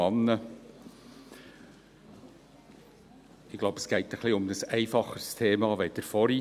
Ich glaube, es geht ein wenig um ein einfacheres Thema als vorher.